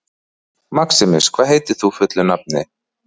Maximus, hvað heitir þú fullu nafni?